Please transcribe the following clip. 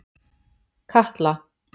Katla